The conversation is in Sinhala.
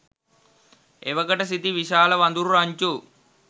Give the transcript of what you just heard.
එවකට සිටි විශාල වඳුරු රංචු